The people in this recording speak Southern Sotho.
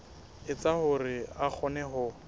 etsa hore a kgone ho